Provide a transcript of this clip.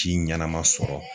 ɲanama sɔrɔ.